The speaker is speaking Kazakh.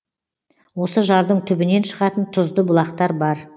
осы жардың түбінен шығатын тұзды бұлақтар бар